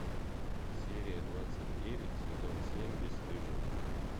серия двадцать девять сезон семь бесстыжие